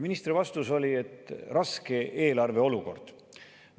Ministri vastus oli: raske eelarve olukord.